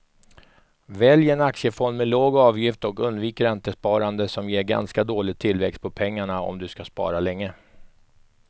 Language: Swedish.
Välj en aktiefond med låg avgift och undvik räntesparande som ger ganska dålig tillväxt på pengarna om du ska spara länge.